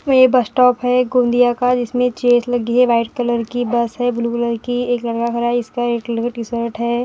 ए bus stop है गोंदिया का जिसमें चेयर्स लगी है व्हाइट कलर की बस है ब्लू कलर की एक लड़का खड़ा है इसका रेड कलर का टी-शर्ट है।